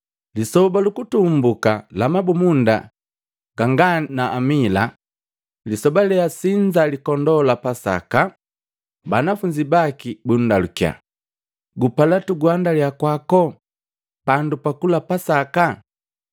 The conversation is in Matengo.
Lisoba lu kutumbuka la Mabumunda ganga ni Lisali, lisoba leasinza likondoo lya Pasaka, banafunzi baki bundalukya, “Gupala tuguhandalya kwako pandu pakula pasaka?”